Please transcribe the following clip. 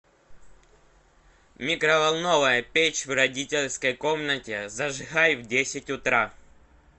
микроволновая печь в родительской комнате зажигай в десять утра